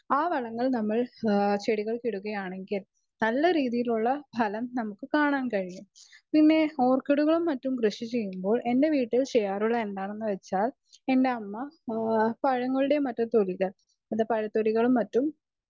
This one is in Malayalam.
സ്പീക്കർ 2 ആ വളങ്ങൾ നമ്മൾ ചെടികൾക്ക് ഇടുകയാണെങ്കിൽ നല്ല രീതിയിലുള്ള ഫലം നമ്മുക്ക് കാണാൻ കഴിയും പിന്നെ ഓർക്കിഡുകളും മറ്റും കൃഷി ചെയുമ്പോൾ എന്റെ വീട്ടിൽ ചെയ്‌യാറുള്ളത് എന്താണെന്നുവെച്ചാൽ എന്റെ അമ്മ പഴങ്ങളുടെ മറ്റു തൊലികൾ പഴത്തൊലികളും മറ്റും